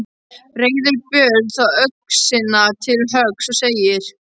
Reiðir Björn þá öxina til höggs og segir: